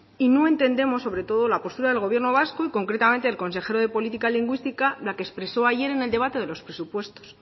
y no entendemos sobre todo la postura del gobierno vasco y concretamente el consejero de política lingüística la que expresó ayer en el debate de los presupuestos